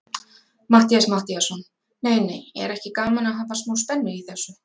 Matthías Matthíasson: Nei, nei, er ekki gaman að hafa smá spennu í þessu?